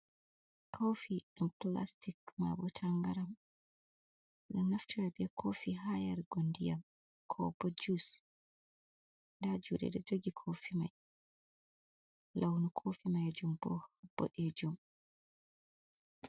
Kofi ɗam plastic mabo tangaram, min ɗonaftira be kofi ha yarugo ndiyam, ko bo jus, nda juɗe ɗo jogi kofi mai, launu kofi ma jum bo boɗejum.